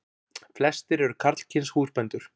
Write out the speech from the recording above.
Flestir eru karlkyns húsbændur.